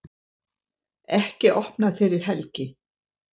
Ekki opnað fyrir helgi